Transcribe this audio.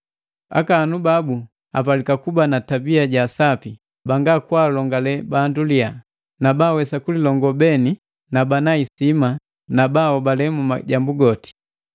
Akaahanu babu apalika kuba na tabia ja sapi, banga kwaalongale bandu liya, na baawesa kulilongoo mweni bana isima na bahobale mu majambu goti.